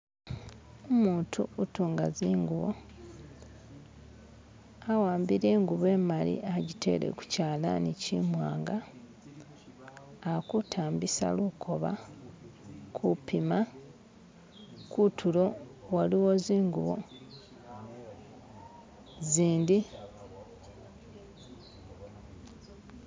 Umuntu utunga zinguwo awambile enguvo emali ajitele ku kyalani kimwanga alikutambisa lukoba kumpima kutulo waliwo zinguwo zindi